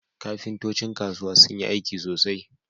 Kafintocin kasuwa sun iya aiki sosai